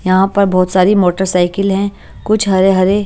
यहाँ पर बहोत सारी मोटरसाइकिल हैं कुछ हरे-हरे --